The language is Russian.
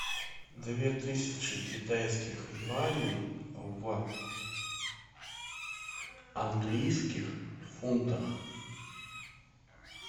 две тысячи китайских юаней в английских фунтах